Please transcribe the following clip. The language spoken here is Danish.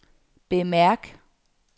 bemærk